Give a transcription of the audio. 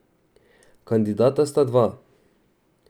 Kandidata sta dva.